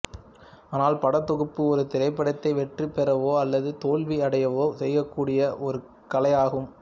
ஆனால் படத்தொகுப்பு ஒரு திரைப்படத்தை வெற்றி பெறவோ அல்லது தோல்வி அடையவோ செய்யக்கூடிய ஒரு கலையாகும்